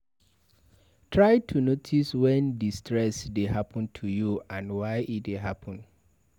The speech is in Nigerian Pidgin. Try to notice when di stress dey happen to you and why e dey happen